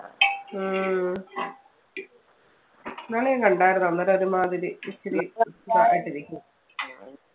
ഉം ഇന്നാള് ഞാൻ കണ്ടായിരുന്നു അന്നേരം ഒരുമാതിരി ഇച്ചിരി ഇതായിട്ട് ഇരിക്കുന്നു.